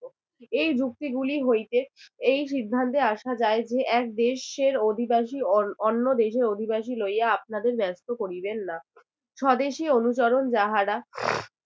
এই যুক্তিগুলি হইতে এই সিদ্ধান্তে আসা যায় যে এক দেশের অধিবাসী অন~ অন্য দেশের অধিবাসী লইয়া আপনাদের ব্যস্ত করিবেন না স্বদেশী অনুচরণ যাহারা